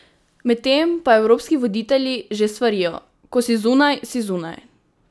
Medtem pa evropski voditelji že svarijo: "Ko si zunaj, si zunaj".